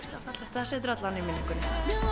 það situr alla vega í minningunni